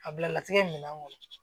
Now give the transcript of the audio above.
A bila latigɛ minan kɔnɔ